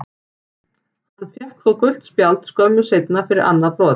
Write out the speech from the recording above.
Hann fékk þó gult spjald skömmu seinna fyrir annað brot.